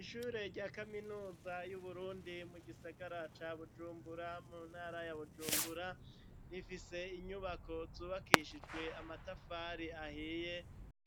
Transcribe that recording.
Ishure rya kaminuza y'Uburundi mu gisagara ca Bujumbura, mu ntara ya Bujumbura, rifise inyubako zubakishijwe amatafari ahiye